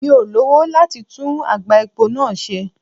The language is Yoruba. Mi ò lowo láti tú àgbá epo náà ṣe.